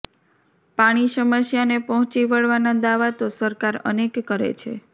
પાણી સમસ્યાને પહોંચી વળવાનાં દાવા તો સરકાર અનેક કરે છે